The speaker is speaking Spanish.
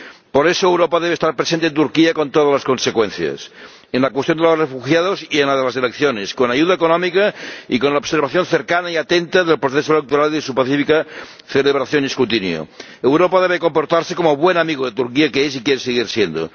Por eso, Europa debe estar presente en Turquía con todas las consecuencias, en la cuestión de los refugiados y en la de las elecciones, con ayuda económica y con la observación cercana y atenta del proceso electoral y de su pacífica celebración y escrutinio. Europa debe comportarse como el buen amigo de Turquía que es y quiere seguir siendo.